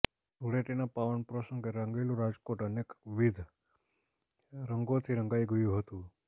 ધુળેટનાં પાવન પ્રસંગે રંગીલું રાજકોટ અનેક વિદ્દ રંગોથી રંગાઇ ગયું હતું